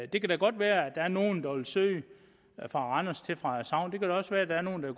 det kan da godt være at der er nogle der vil søge fra randers til frederikshavn det kan da også være at der er nogle der